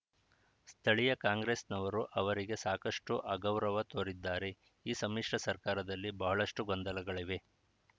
ಸ್ಥಳೀಯ ಕಾಂಗ್ರೆಸ್‌ನವರು ಅವರಿಗೆ ಸಾಕಷ್ಟುಅಗೌರವ ತೋರಿದ್ದಾರೆ ಈ ಸಮ್ಮಿಶ್ರ ಸರ್ಕಾರದಲ್ಲಿ ಬಹಳಷ್ಟುಗೊಂದಲಗಳಿವೆ